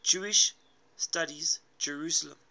jewish studies jerusalem